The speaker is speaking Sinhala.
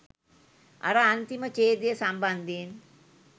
අර අන්තිම ඡේදය සම්බන්ධයෙන්